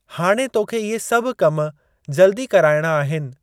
हाणे तोखे इहे सभु कम जल्दी कराइणा आहिनि।